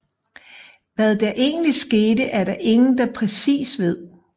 Hvad der egentlig skete er der ingen der præcis ved